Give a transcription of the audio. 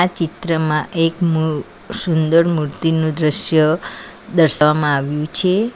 આ ચિત્રમાં એક મુ સુંદરમૂર્તિનું દ્રશ્ય દર્શાવવામાં આવ્યું છે.